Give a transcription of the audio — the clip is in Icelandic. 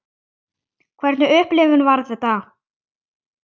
Hvernig upplifun var þetta?